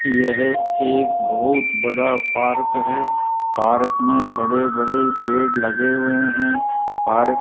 यह एक बहोत बड़ा पार्क है पार्क में बड़े बड़े पेड़ लगे हुए हैं पार्क --